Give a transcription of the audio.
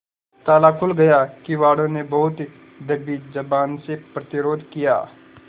ताला खुल गया किवाड़ो ने बहुत दबी जबान से प्रतिरोध किया